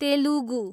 Telugu